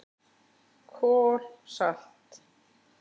KOL SALT